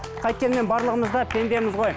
қайткенмен барлығымыз да пендеміз ғой